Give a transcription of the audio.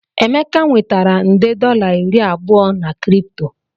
Emeka nwetara nde dollar iri abụọ na Kripto